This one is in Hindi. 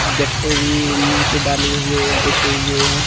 गट्टे भी नीचे डाले हुवे है बिछे हुवे है।